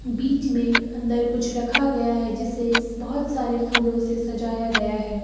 बीच में अंदर कुछ रखा गया है जिससे बहोत सारे फूलों से सजाया गया है।